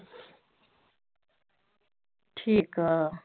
ਠੀਕ ਆ